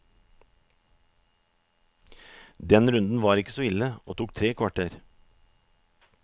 Den runden var ikke så ille, og tok tre kvarter.